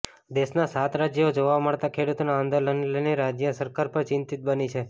દેશના સાત રાજ્યોમાં જોવા મળતા ખેડૂતોના આંદોલનને લઈને રાજય સરકાર પર ચિંતિત બની છે